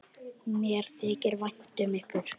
Mér þykir vænt um ykkur.